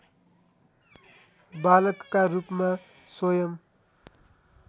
बालकका रूपमा स्वयम्